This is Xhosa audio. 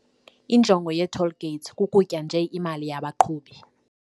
Injongo yee-toll gates kukutya nje imali yabaqhubi.